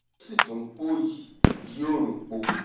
ó sì tún npòòyì yí òòrùn po